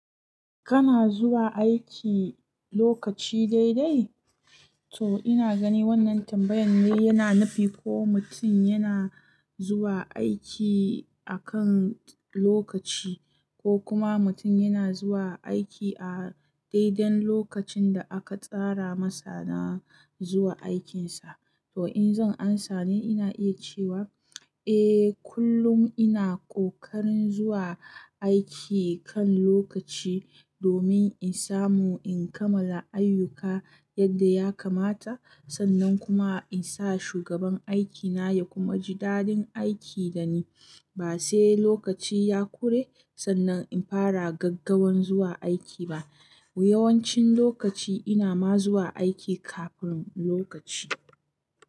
Kana zuwa aiki lokaci daidai? To ina gani wannan tambayan ne yana nufi ko mutum yana zuwa aiki akan lokaci, ko kuma mutum yana zuwa aiki a daidai lokacin da aka tsara masa na zuwa aikinsa. To in zan amsa ne ina iya cewa, eh kullum ina kokarin zuwa aiki kan lokaci, domin in samu in kammala ayyuka yadda ya kamata, sannan kuma in sa shugaban aikina ya kuma ji dadin aiki dani. Ba sai lokaci ya kure sannan in fara gaggawan zuwa aiki ba. Yawancin lokaci ina ma zuwa aiki kafin lokaci.